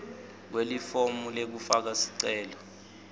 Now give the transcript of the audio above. kwelifomu lekufaka sicelo